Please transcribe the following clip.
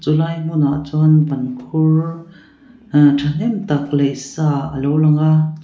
lai hmunah chuan bankhur ah tha hnem tak laih sa a lo lang a chua--